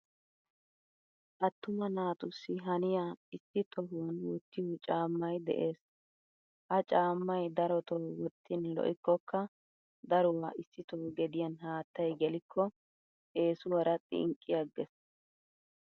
Attuma naatussi haniya issi tohuwan wottiyo caamay de'ees. Ha caamay daroto wottin lo'ikoka daruwa issito gediyan haattaay geliko eesuwara xinqqi agees.